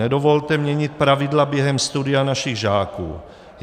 Nedovolte měnit pravidla během studia našich žáků.